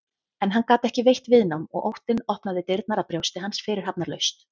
En hann gat ekki veitt viðnám og óttinn opnaði dyrnar að brjósti hans fyrirhafnarlaust.